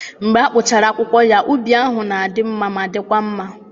Mgbe a kpụchara akwụkwọ ya, ubi ahụ na-adị mma ma dịkwa mma.